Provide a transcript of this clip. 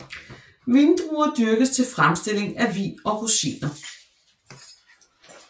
Vindruer dyrkes til fremstilling af vin og rosiner